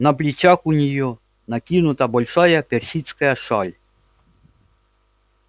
на плечах у нее накинута большая персидская шаль